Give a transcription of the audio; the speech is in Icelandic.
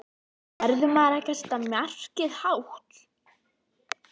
Verður maður ekki að setja markið hátt?